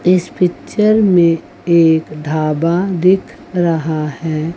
इस पिक्चर में एक ढाबा दिख रहा है।